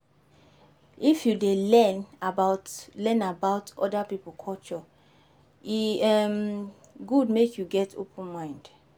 If you dey learn about learn about oda pipo culture, e um good make you get open mind.